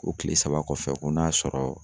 O kile saba kɔfɛ ko n'a y'a sɔrɔ